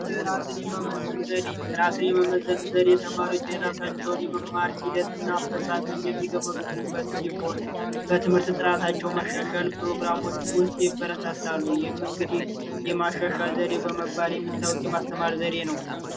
ራስን የመመዘን ዘዴ! ራስን የመመዘን ዘዴ ተማሪዎች የራሳቸውን የመማር ሂደት እና አፈፃፀም የሚገመግሙበት ሲሆን በትምህርት ጥራታቸው መሻሻል ፕሮግራሞች ውስጥ ይበረታታሉ። ይህም እንግዲህ የማሸሻል ዘዴ በመባል የሚታወቅ የማስተማር ዘዴ ነው።